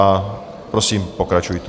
A prosím, pokračujte.